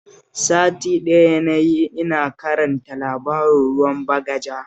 Sati ɗaya na yi ina karanta labarin Ruwan Bagaja